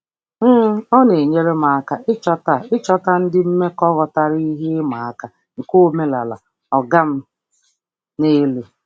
um Ọ na-enyere aka ịchọta ịchọta ndị mmekọ ghọtara ihe ịma aka nke omenala "ọga m n'elu".